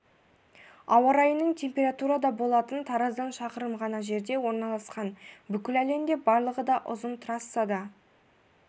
ауа райының температурада болатын тараздан шақырым ғана жерде орналасқан бүкіл әлемде барлығы да ұзын трассада